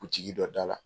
Butigi dɔ dala